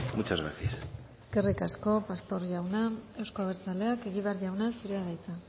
muchas gracias eskerrik asko pastor jauna euzko abertzaleak egibar jauna zurea da hitza